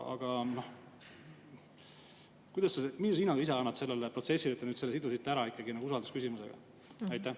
Aga millise hinnangu sa ise annad sellele protsessile, et te nüüd ikkagi sidusite ka selle usaldusküsimusega?